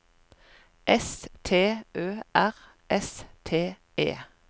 S T Ø R S T E